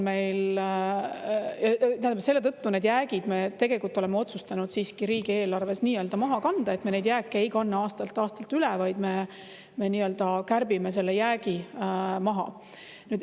Selle tõttu need jäägid me tegelikult oleme otsustanud siiski riigieelarves nii-öelda maha kanda, me neid jääke ei kanna aastast aastasse üle, vaid me kärbime selle jäägi maha.